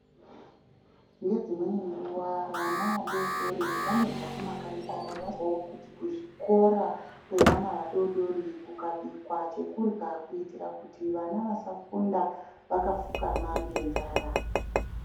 Ngedzimweni nguwa vana vadoodori vanobva mumakanyi kwawo vawo kuti kuzvikora kwevana vadodori kukabikwa chekurwa kuitirti vana vasafunda vakafukama ngenzara.